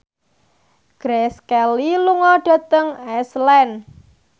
Grace Kelly lunga dhateng Iceland